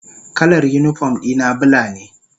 Kalar unipom dina bula ne.